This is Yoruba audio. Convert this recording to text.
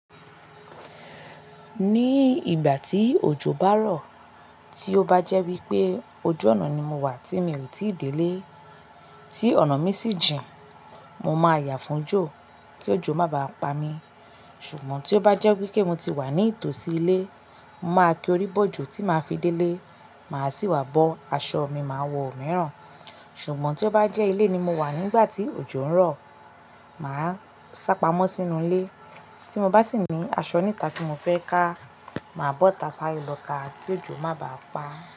Ní ìgbà tí òjò bá rọ̀, tí ó bá jẹ́ wípé ojuòná ni mo wà tí mi ò tíì délé, tí ọ̀nà mi sì jìn, mo máa yà fún òjò kí òjò má bá pa mi. Ṣùgbọ́n tí ó bá jẹ́ wípé mo ti wà ní ìtòsí ilé, mo máa kí orí bọ̀ òjò tí màá fi délé, màá sì wá bọ́ aṣọ mi máa wọ mìíràn. Ṣùgbọ́n tí ó bá jẹ́ ilé ni mo wà nígbà tí òjò ń rọ̀, màá sápamọ́ sínú ilé, tí mo bá sì ní aṣọ níta tí mo fẹ́ ká, màá bọ́ta sáré lọ ká kí òjò má bá pa á.